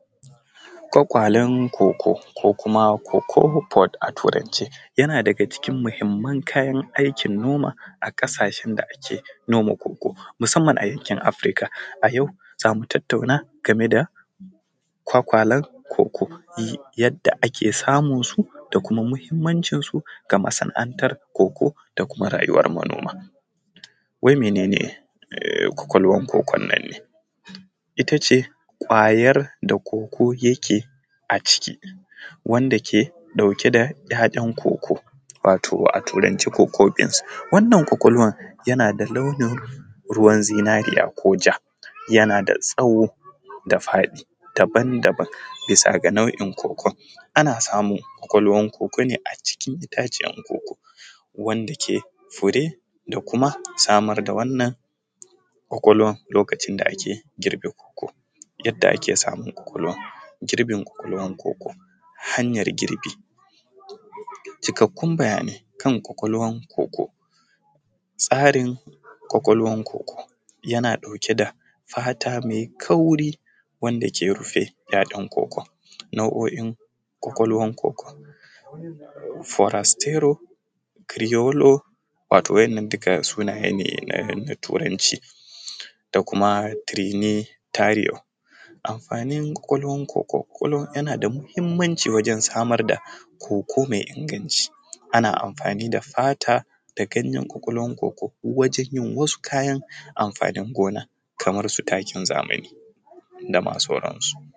Kwakwalan koko ko kuma cocoa pot a turance, yana daga cin muhimman kayan aikin noma a kasashen da ake noma koko musamman a yankin Africa, a yau zamu tattauna game da kwakwalan koko yadda ake samun su da kuma muhimmancin ga masana’antar koko da kuma rayuwan al’umma, wai mene ne kwakwalwan kokon ne? ita ce ƙwayar da koko yake a ciki wanda ke ɗauke da ‘ya’yan koko wato a turance koko beans, wannan kwakwalwan yana da launin ruwan zinariya ko ja yana da tsawo da faɗi daban-daban misa ga nau’in kokon ana samun kwakwalwan koko ne a cikin itaciyar koko wanda ke fure da kuma samar da wannan kwakwalwan lokacin da ake girbe koko, yadda ake samun kwakwalwan girbin kwakwalwan koko hanyar girbi, cikarkun bayanai kan kwakwalwan koko, tsarin kwakwalwan koko yana ɗauke da fata mai kauri wanda ke rufe ‘ya’yan kokon, nau’o’in kwakwalwan koko furastero crealor to waɗannan duka sunaye ne na turanci da kuma triny tario, amfanin kwakwalwan koko yana da muhimmanci wajen samar da koko mai inganci ana amfani da fata da ganyen kwakwalwan koko wajen yin wasu kayan amfanin gona kamar su takin zamani dama sauran su.